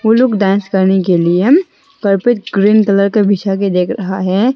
वो लोग डांस करने के लिए कारपेट ग्रीन कलर के बिछा के देख रहा है।